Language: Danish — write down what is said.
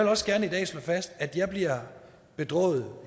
også gerne i dag slå fast at jeg bliver bedrøvet